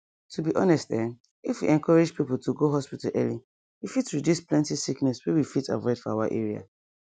to be honest ehm if we encourage people to go hospital early e fit reduce plenty sickness wey we fit avoid for our area